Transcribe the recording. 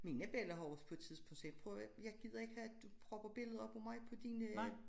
Mine bella har også på et tidspunkt sagt prøv at hør jeg gider ikke have du propper billeder op af mig på dine øh